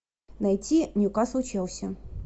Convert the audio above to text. найти ньюкасл челси